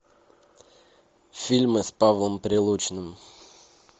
фильмы с павлом прилучным